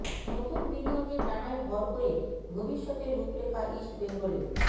নতুন বিনিয়োগের ডানায় ভর করে ভবিষ্য়তের রূপরেখা ইস্ট বেঙ্গলের